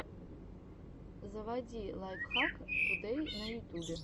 заводи лайфхак тудэй на ютубе